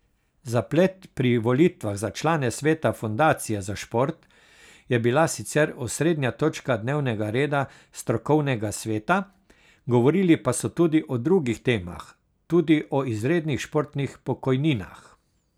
Zaplet pri volitvah za člane sveta Fundacije za šport je bila sicer osrednja točka dnevnega reda strokovnega sveta, govorili pa so tudi o drugih temah, tudi o izrednih športnih pokojninah.